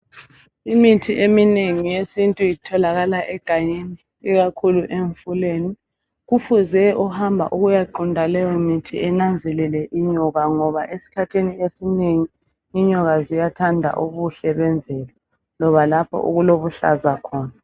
Imithi eminengi yesintu itholakala egangeni ikakhulu emfuleni. Kufuze ohamba ukuyaqunta leyomithi enanzelele inyoka ngoba esikhathini esinengi inyoka ziyathanda ubuhle bemvelo loba lapho okulobuhlaza khona.